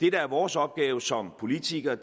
er vores opgave som politikere